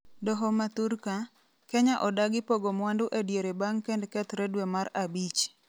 doho ma thurka ,Kenya odagi pogo mwandu ediere bang' kend kethre dwe mar abich